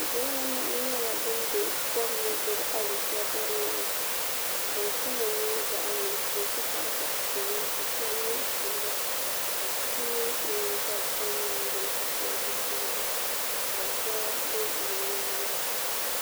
Bihi anahi nyɛla bin bɛ kom ni gbubi alichɛdiri nima din kama nyɛ zaɣ nuɣso n ti pahi zaɣ piɛlli ka shab yɛ silba ka bi yino dabi kom maa gbuni ka pili zipiligu ka zoya bɛ di nyaanga